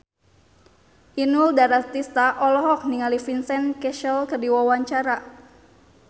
Inul Daratista olohok ningali Vincent Cassel keur diwawancara